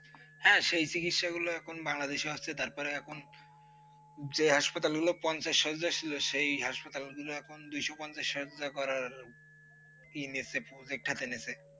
হা সেই চিকিত্সা গুলো এখন বাংলাদেশেই হচ্ছে তার পরে এখন যে hospital গুলো পঞ্চাশ সজ্ছিজা ছিল সেই hospital গুলো এখন দুইশ পঞ্চাশ সজ্জা করার ইয়ে নিয়েছে, বাখ্যা টেনেছে ।